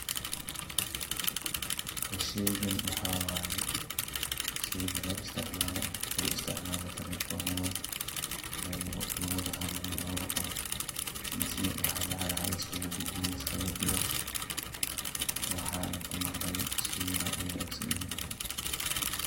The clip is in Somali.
Sheygan waxaa waay sheyga loo isticmaalayo at lagu isticmaalayo telefoonada loogu wada hadlo labada qof, misna waxaa lacaga luskugu gudbiyo liskigi diro. Waxaan aan kumaqley shey wanaagsan inuu yahay.